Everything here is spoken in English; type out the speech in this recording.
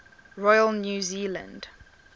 royal new zealand